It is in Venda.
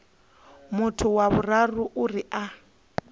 muthu wa vhuraru uri a